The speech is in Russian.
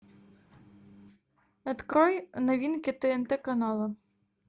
открой новинки тнт канала